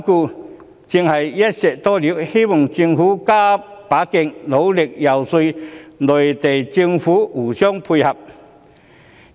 這正是"一箭多鵰"，因此我希望政府加把勁，努力遊說內地政府互相配合。